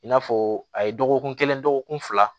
I n'a fɔ a ye dɔgɔkun kelen dɔgɔkun fila